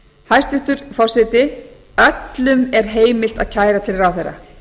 hæstvirtur forseti öllum er heimilt að kæra til ráðherra